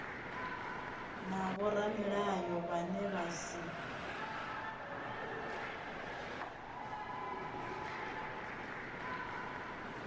na vhoramilayo vhane vha si